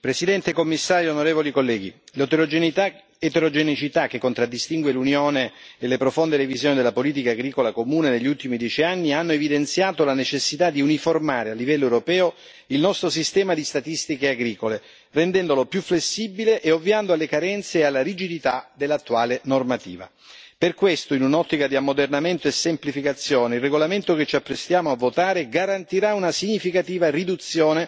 Presidente, onorevoli colleghi, signor Commissario, l'eterogeneità che contraddistingue l'Unione e le profonde revisioni della politica agricola comune negli ultimi dieci anni hanno evidenziato la necessità di uniformare a livello europeo il nostro sistema di statistiche agricole, rendendolo più flessibile e ovviando alle carenze e alla rigidità dell'attuale normativa. Per questo, in un'ottica di ammodernamento e semplificazione, il regolamento che ci apprestiamo a votare garantirà una significativa riduzione